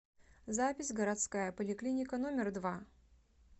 запись городская поликлиника номер два